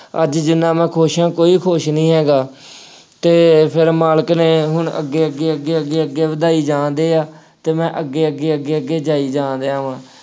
ਅੱਜ ਜਿੰਨਾ ਮੈਂ ਖੁਸ਼ ਹਾਂ ਕੋਈ ਖੁਸ਼ ਨਹੀਂ ਹੈਗਾ ਅਤੇ ਫੇਰ ਮਾਲਕ ਨੇ ਹੁਣ ਅੱਗੇ ਅੱਗੇ ਅੱਗੇ ਅੱਗੇ ਅੱਗੇ ਅੱਗੇ ਵਧਾਈ ਜਾਣ ਡੇ ਆ ਅਤੇ ਮੈਂ ਅੱਗੇ ਅੱਗੇ ਅੱਗੇ ਅੱਗੇ ਜਾਈ ਜਾਣ ਡਿਆ ਵਾ।